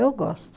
Eu gosto.